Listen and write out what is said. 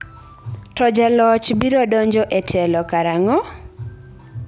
To jaloch biro donjo e telo karang'o?